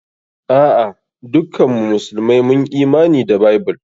A'a, dukkan mu musulmai mun Imani da Bible.